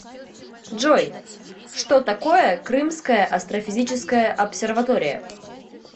джой что такое крымская астрофизическая обсерватория